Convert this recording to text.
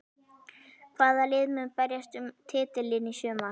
Hvaða lið munu berjast um titilinn í sumar?